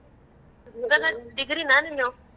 ಇವಾಗ degree ನ ನೀನು?